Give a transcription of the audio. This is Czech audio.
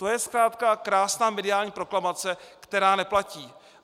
To je zkrátka krásná mediální proklamace, která neplatí.